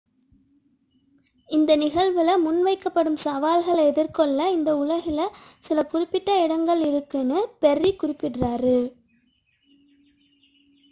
இந்த நிகழ்வில் முன்வைக்கப்படும் சவால்களை எதிர்கொள்ள இந்த உலகில் சில குறிப்பிட்ட இடங்கள் உள்ளன' என்று பெர்ரி குறிப்பிட்டு கூறினார்